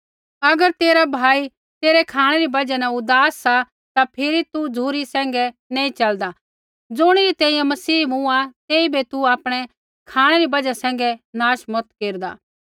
अगर तेरा भाई तेरै खाँणै री बजहा न उदास सा ता फिरी तू झ़ुरी सैंघै नैंई च़लदा ज़ुणिरै तैंईंयैं मसीह मूँआ तेइबै तू आपणै खाँणै री बजहा सैंघै नाश मत केरदा